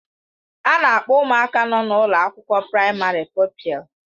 A na-akpọ ụmụaka nọ na ụlọ akwụkwọ praịmarị pụpịl.